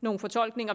nogle fortolkninger